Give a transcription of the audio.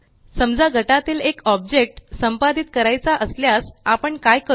समजा गटातील एक ऑब्जेक्ट संपादित करायचा असल्यास आपण काय करू